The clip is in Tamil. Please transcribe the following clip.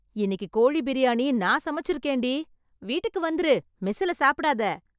இன்னிக்கு கோழி பிரியாணி நான் சமைச்சுருக்கேன்டி... வீட்டுக்கு வந்துரு, மெஸ்ஸுல சாப்டாதே...